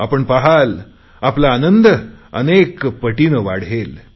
आपण पहाल आपला आनंद अनेकपटीने वाढेल